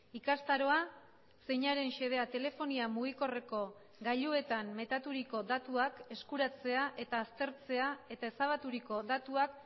ikastaroa zeinaren xedea telefonia mugikorreko gailuetan metaturiko datuak eskuratzea eta aztertzea eta ezabaturiko datuak